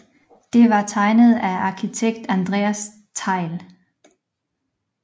Det var tegnet af arkitekt Andreas Thejll